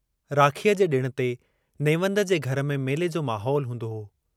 राखीअ जे डिण ते नेवंद जे घर में मेले जो माहौल हूंदो हो।